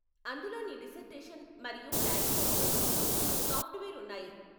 అందులో నీ డిసర్టేషన్ మరియు ప్లాగియారిజం కోసం సాఫ్ట్వేర్ ఉన్నాయి.